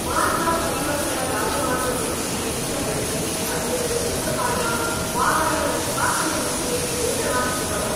मार्ग परिवहन राजमार्ग मन्त्री नितिन गडकरी अद्य लोकसभायां वाहननिष्कासननीते घोषणां कृतवान्।